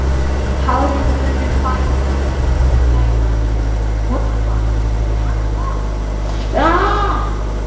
Tárin munu flæða.